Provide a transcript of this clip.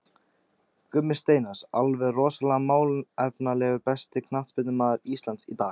Gummi Steinars, alveg rosalega málefnalegur Besti knattspyrnumaður Íslands í dag?